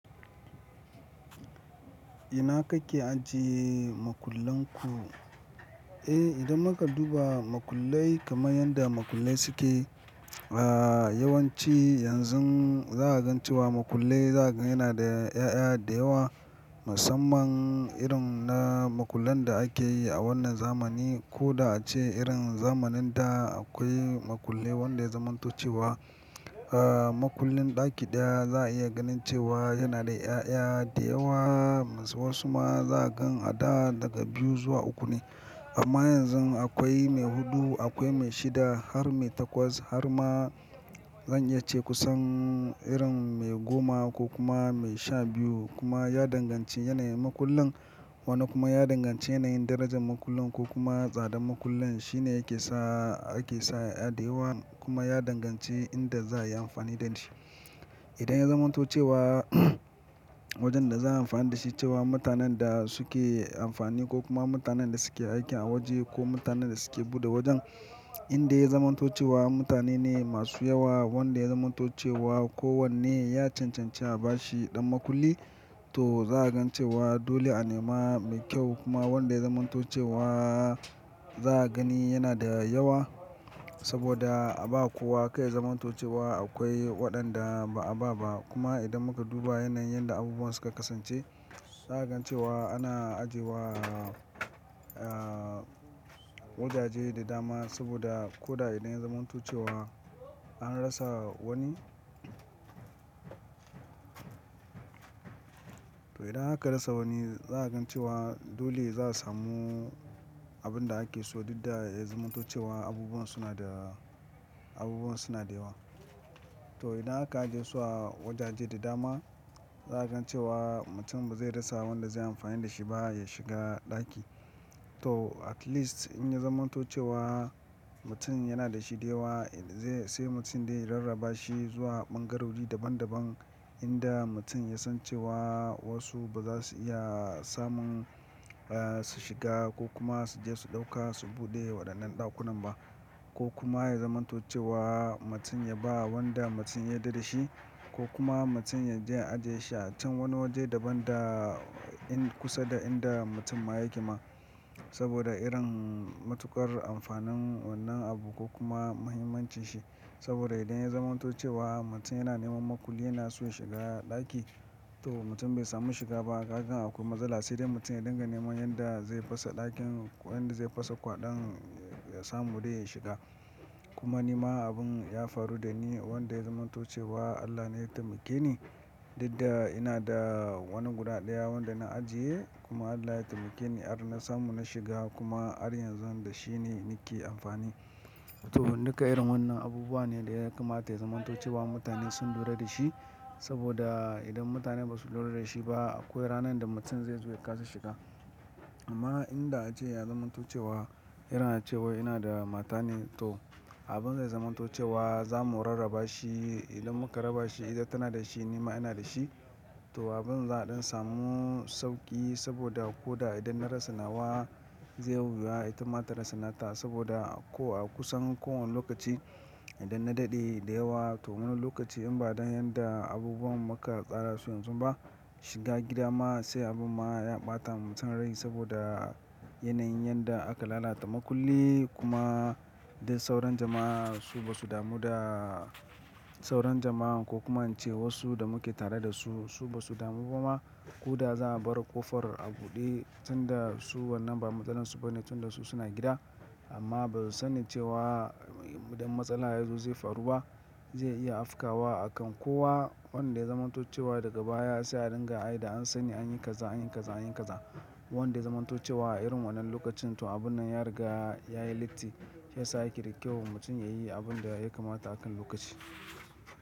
Ina kake ajiye makullan ku? Eh, idan muka duba makullai kaman yanda makullai suke, yawanci yanzu za'a gan cewa makullai za'a gan yanada 'ya'ya da yawa. Musamman irin na makullan da ake yi a wannan zamani ko da ace irin zamanin da akwai makulli wanda ya zamanto cewa. Makullin ɗaki ɗaya za a iya ganin cewa yana da 'ya'ya da yawa. Wasu ma za ka gan a da daga biyu zuwa uku ne. Amma yanzu akwai mai hudu, akwai mai shida har mai takwas har ma zan iya ce kusan irin mai goma ko kuma mai sha biyu. Kuma ya danganci yanayin makullin. Wani kuma ya danganci yanayin darajar makullin ko kuma tsadar makullin. Shine yake sa ake sa yaya da yawa, kuma ya danganci inda za a yi amfani da shi. Idan ya zamantocewa wajen da za a yi amfani da shi cewa mutanen da suke amfani ko kuma mutanen da suke aiki a waje ko mutanen da suke buɗe wajen inda ya zamanto cewa mutane ne masu yawa wanda ya zamanto cewa ko wanne ya cancanci a bashi ɗan makulli to za ka gan cewa dole a nema mai kyau kuma wanda ya zamanto cewa za a gani yana da yawa. Saboda a ba kowa kar ya zamantocewa akwai waɗanda ba'a ba ba. Kuma idan muka duba yanayin yadda abubuwan suka kasance za ka gan cewa ana ajiye wa a wajaje da dama saboda ko da idan ya zamanto cewa an rasa wani. To idan aka rasa wani za a gan cewa dole za su samu abin da ake so. Duk da ya zamanto cewa abubuwan suna da, abubuwan suna da yawa. To idan aka ajiye su a wajaje da dama za a gan cewa mutum ba zai rasa wanda zai yi amfani da shi ba ya shiga ɗaki. To at least in ya zamanto cewa mutum yana da shi da yawa zai sai mutum dai ya rarraba shi zuwa ɓangarori daban daban inda mutum ya san cewa wasu ba za su iya samun su shiga ko kuma su je su ɗauka su buɗe waɗannan ɗakunan ba. Ko kuma ya zamanto cewa mutum ya ba wanda mutum ya yadda dashi ko kuma mutum ya je ya ajiye shi a can wani waje daban da in kusa da inda mutum ma yake ma. Saboda irin matuƙar amfanin wannan abu ko kuma muhimmancin shi. Saboda idan ya zamanto cewa mutum yana neman makulli yana so ya shiga ɗaki to in mutum bai samu shiga ba, kaga akwai matsala sai dai mutum ya dinga neman yanda zai fasa ɗakin ko yanda zai fasa kwaɗon ya samu dai ya shiga. Kuma ni ma abun ya faru da ni wanda ya zamanto cewa Allah ne ya taimake ni. Duk da ina da wani guda ɗaya wanda na ajiye kuma Allah ya taimake ni har na samu na shiga kuma har yanzu da shine nake amfani. To duka irin wannan abubuwa ne da ya kamata ya zamanto cewa mutane sun lura da shi. Saboda idan mutane ba su lura da shi ba akwai ranar da mutum zai zo ya kasa shiga. Amma inda ace ya zamanto cewa irin ace wai ina da mata ne to abin zai zamanto cewa za mu rarraba shi. Idan muka raba shi idan tana da shi ni ma ina da shi. To abin za a ɗan samu sauƙi saboda ko da idan na rasa nawa zai yiwuwa ita ma ta rasa nata. Saboda ko a kusan kowane lokaci idan na daɗe da yawa to wani lokaci in ba dan yadda abubuwan muka tsara su yanzu ba shiga gida ma sai abin ma ya ɓata ma mutum rai saboda yanayin yadda aka lalata makulli kuma dai sauran jama'a su ba su damu da sauron jama'a ko kuma cewa su da muke tare da su su ba su damu kuma. Ko da za a bar ƙofar a buɗe tun da su wannan ba matsalar su ba ne tun da su suna gida amma ba su san cewa idan matsala yazo zai faru ba. Zai iya afkawa akan kowa wanda ya zamanto cewa daga baya sai a dinga ai da an sani an yi kaza an yi kaza an yi kaza. Wanda ya zamanto cewa a irin wannan lokacin to abun nan ya riga ya yi latti, shiyasa yake da kyau mutum ya yi abin da ya kamata akan lokaci.